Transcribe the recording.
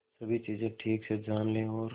सभी चीजें ठीक से जान ले और